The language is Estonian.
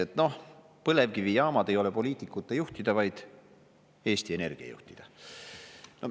Et noh, põlevkivijaamad ei ole poliitikute juhtida, vaid Eesti Energia juhtida.